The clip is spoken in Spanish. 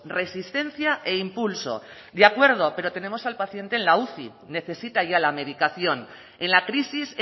resistencia e impulso de acuerdo pero tenemos al paciente en la uci necesita ya la medicación en la crisis